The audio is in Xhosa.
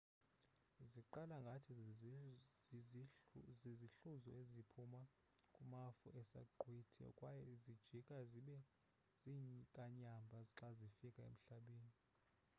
ziqala ngathi zizihluzo eziphuma kumafu esaqhwithi kwaye zijika zibe ziinkanyamba xa zifika emhlabeni